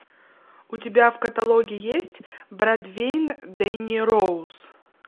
у тебя в каталоге есть бродвей дэнни роуз